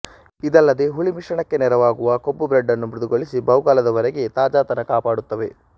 ಇದಲ್ಲದೇ ಹುಳಿ ಮಿಶ್ರಣಕ್ಕೆ ನೆರವಾಗುವ ಕೊಬ್ಬು ಬ್ರೆಡ್ ನ್ನು ಮೃದುಗೊಳಿಸಿ ಬಹುಕಾಲದ ವರೆಗೆ ತಾಜಾತನ ಕಾಪಾಡುತ್ತವೆ